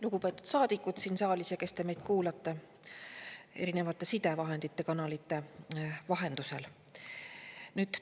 Lugupeetud saadikud siin saalis ja kes te meid kuulate erinevate sidevahendite ja ‑kanalite vahendusel!